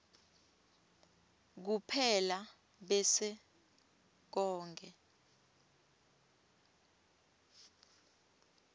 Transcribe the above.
kuphela bese konkhe